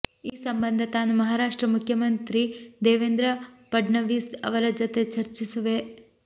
ಈ ಸಂಬಂಧ ತಾನೂ ಮಹಾರಾಷ್ಟ್ರ ಮುಖ್ಯಮಂತ್ರಿ ದೇವೇಂದ್ರ ಫಡ್ನವೀಸ್ ಅವರ ಜತೆ ಚರ್ಚಿಸುವೆ